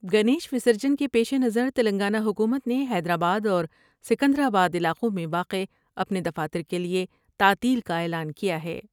گنیش وسرجن کے پیش نظر تلنگانہ حکومت نے حیدرآباداورسکندرآ با علاقوں میں واقع اپنے دفاتر کیلئے تعطیل کا اعلان کیا ہے ۔